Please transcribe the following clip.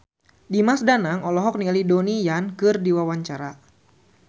Dimas Danang olohok ningali Donnie Yan keur diwawancara